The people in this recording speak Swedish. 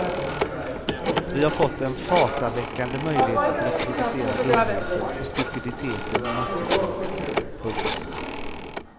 Vi har fått en fasaväckande möjlighet att reproducera dumheten och stupiditeten i massupplaga. punkt